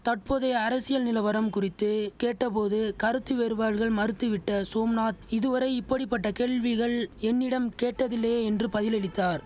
தட்போதைய அரசியல் நிலவரம் குறித்து கேட்ட போது கருத்து வேறுபாடுகள் மறுத்துவிட்ட சோம்நாத் இதுவரை இப்படி பட்ட கேள்விகள் என்னிடம் கேட்டதில்லையே என்று பதிலளித்தார்